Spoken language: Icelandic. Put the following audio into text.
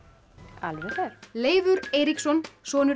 alveg rétt Leifur Eiríksson sonur